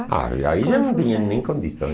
Ah aí já não tinha nem condições.